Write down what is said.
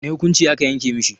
Wane hukunci a ka yanke mishi?